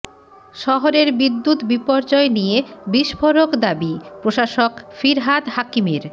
শহরের বিদ্যুৎ বিপর্যয় নিয়ে বিস্ফোরক দাবি প্রশাসক ফিরহাদ হাকিমের